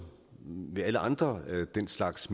ved alle andre af den slags